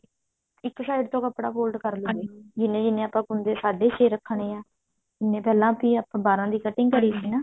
ਇੱਕ side ਤੋਂ ਕੱਪੜਾ ਕਰ ਲੈਣਾ ਜਿਵੇ ਜਿਵੇਂ ਆਪਾਂ ਕੁੰਡੇ ਸਾਢੇ ਛੇ ਰੱਖਣੇ ਆ ਜਿਵੇਂ ਪਹਿਲਾਂ ਸੀ ਆਪਾਂ ਬਾਰਾਂ ਦੀ cutting ਕਰੀ ਸੀ ਨਾ